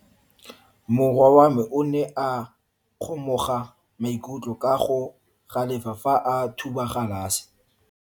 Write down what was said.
Morwa wa me o ne a kgomoga maikutlo ka go galefa fa a thuba galase.